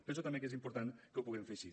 penso també que és important que ho puguem fer així